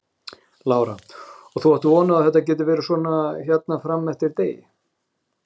Lára: Og þú átt von á að þetta geti verið svona hérna fram eftir degi?